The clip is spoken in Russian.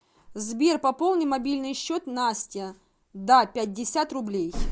сбер пополни мобильный счет насте да пятьдесят рублей